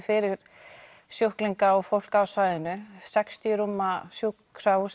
fyrir sjúklinga og fólk á svæðinu þetta sextíu rúma sjúkrahús